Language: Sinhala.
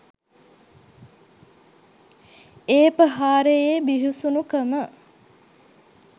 ඒ ප්‍රහාරයේ බිහිසුනු කම